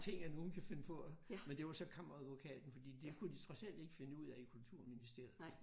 Tænk at nogen kan finde på at men det var så kammeradvokaten fordi det kunne de trods alt ikke finde ud af i Kulturministeriet